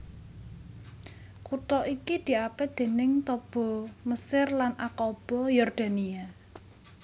Kutha iki diapit déning Taba Mesir lan Aqaba Yordania